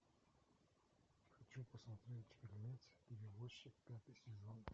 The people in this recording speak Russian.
хочу посмотреть фильмец перевозчик пятый сезон